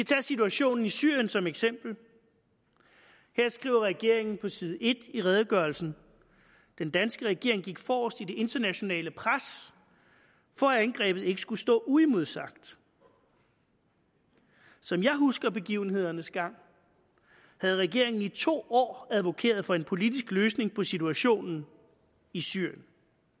tage situationen i syrien som eksempel her skriver regeringen på side en i redegørelsen den danske regering gik forrest i det internationale pres for at angrebet ikke skulle stå uimodsagt som jeg husker begivenhedernes gang havde regeringen i to år advokeret for en politisk løsning på situationen i syrien